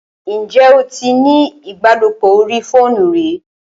Ǹjẹ́ o tí ní ìbálòpọ̀ orí fóònù rí?